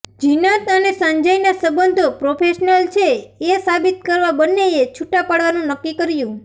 ઝિનત અને સંજયના સંબંધો પ્રોફેશનલ છે એ સાબિત કરવા બંનેએ છૂટાં પડવાનું નક્કી કર્યું